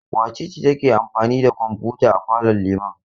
Wace ce take amfani da kwamfuta a falon Liman?